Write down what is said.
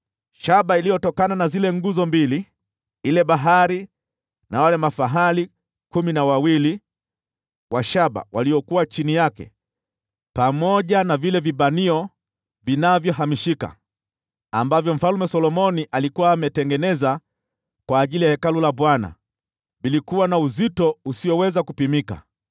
Shaba iliyotokana na zile nguzo mbili, ile Bahari na wale mafahali kumi na mawili wa shaba waliokuwa chini yake, pamoja na vile vishikilio vilivyohamishika, ambavyo Mfalme Solomoni alikuwa ametengeneza kwa ajili ya Hekalu la Bwana , ilikuwa na uzito usioweza kupimika.